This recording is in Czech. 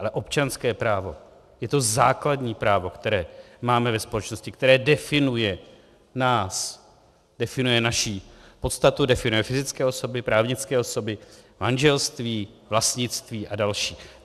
Ale občanské právo je to základní právo, které máme ve společnosti, které definuje nás, definuje naši podstatu, definuje fyzické osoby, právnické osoby, manželství, vlastnictví a další.